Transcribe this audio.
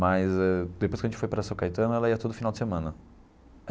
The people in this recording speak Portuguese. Mas eh depois que a gente foi para São Caetano, ela ia todo final de semana.